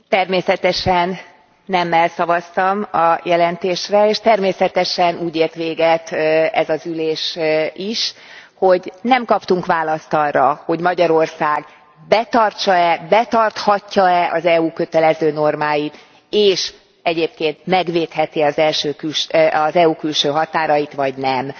Természetesen nemmel szavaztam a jelentésre, és természetesen úgy ért véget ez az ülés is, hogy nem kaptunk választ arra, hogy Magyarország betartsa e, betarthatja e ez EU kötelező normáit, és egyébként megvédheti e az EU külső határait vagy nem.